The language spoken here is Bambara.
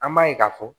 An b'a ye k'a fɔ